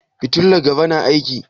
Fitilar gaba na aiki?